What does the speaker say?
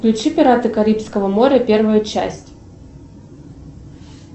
включи пираты карибского моря первая часть